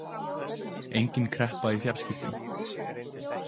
Engin kreppa í fjarskiptum